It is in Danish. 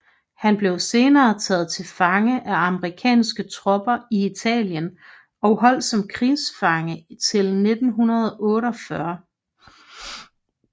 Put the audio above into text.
Han blev senere taget til fange af amerikanske tropper i Italien og holdt som krigsfange til 1948